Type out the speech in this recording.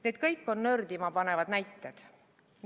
Need kõik on nördima panevad näited.